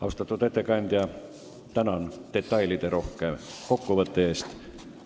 Austatud ettekandja, tänan teid detailiderohke kokkuvõtte eest!